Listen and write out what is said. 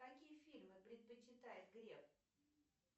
какие фильмы предпочитает греф